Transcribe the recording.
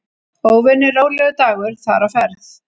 Óvenju rólegur dagur þar á ferð.